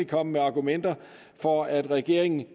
komme med argumenter for at regeringen